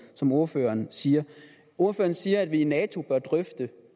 som ordføreren siger ordføreren siger at vi i nato bør drøfte